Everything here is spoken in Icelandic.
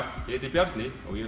Bjarni og ég